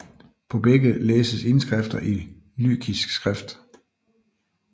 På begge læses indskrifter i lykisk skrift